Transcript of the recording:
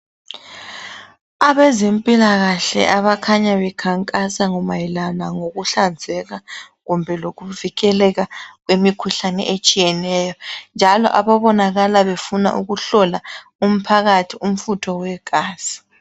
Abezempilakahle abakhanya bekhankasa mayelana ngokuhlazeka kumbe lokuvikeleka kwemikhuhlane etshiyeneyo, njalo ababonakala befuna ukuhlola umphakathi umfutho wegazi.